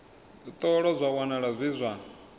ṱolwa zwa wanala zwi zwa